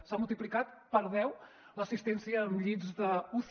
s’ha multiplicat per deu l’assistència amb llits d’uci